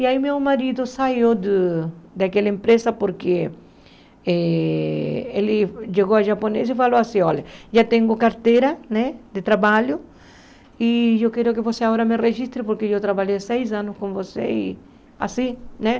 E aí meu marido saiu do daquela empresa porque eh ele chegou a japonês e falou assim, olha, já tenho carteira né de trabalho e eu quero que você agora me registre porque eu trabalhei seis anos com você e assim, né?